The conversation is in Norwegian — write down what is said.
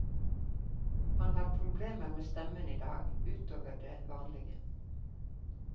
Han har problemer med stemmen i dag, ut over det vanlige.